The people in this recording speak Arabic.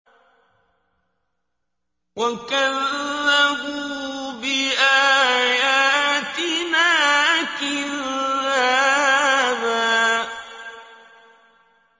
وَكَذَّبُوا بِآيَاتِنَا كِذَّابًا